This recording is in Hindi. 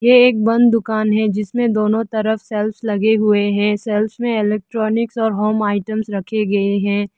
ये एक बंद दुकान है जिसमें दोनो तरफ़ सेल्फस लगें हुए हैं सेल्फस में इलेक्ट्रॉनिक्स और होम आइटम्स रखे गये हैं।